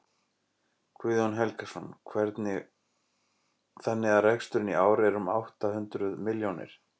Guðjón Helgason: Þannig að reksturinn í ár er um átta hundruð milljónir?